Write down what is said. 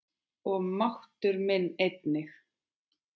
Og máttur minn einnig.